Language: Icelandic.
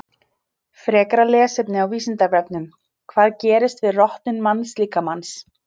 Frekara lesefni á Vísindavefnum: Hvað gerist við rotnun mannslíkamans?